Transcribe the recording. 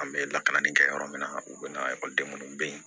An bɛ lakalanni kɛ yɔrɔ min na u bɛ na ekɔliden minnu bɛ yen